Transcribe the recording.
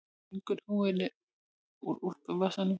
Stingur húfunni í úlpuvasann.